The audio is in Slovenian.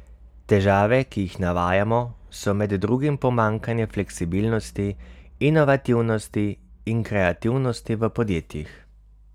Težave, ki jih navajajo, so med drugim pomanjkanje fleksibilnosti, inovativnosti in kreativnosti v podjetjih.